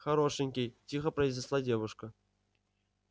хорошенький тихо произнесла девушка